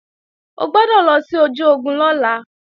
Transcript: O gbọ́dọ̀ lọ sí ojú ogun lọ́la